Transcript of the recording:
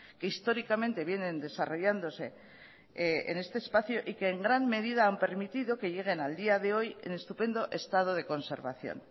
que históricamente vienen desarrollándose en este espacio y que en gran medida han permitido que lleguen al día de hoy en estupendo estado de conservación